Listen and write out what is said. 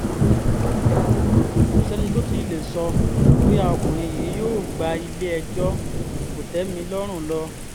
ko sẹni to ti le sọ boya ọkunrin yi yoo gba ile-ẹjọ kotẹmilọrun lọ